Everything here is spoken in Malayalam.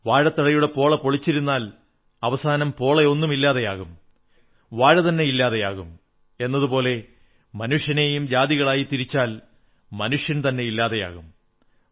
വാഴത്തടയുടെ പോള പൊളിച്ചു പൊളിച്ചിരുന്നാൽ അവസാനം പോള ഒന്നും ഇല്ലാതെയാകും വാഴതന്നെ ഇല്ലാതെയാകും എന്നതുപോലെ മനുഷ്യനെയും ജാതികളായി തിരിച്ചാൽ മനുഷ്യൻ ഇല്ലാതെയാകും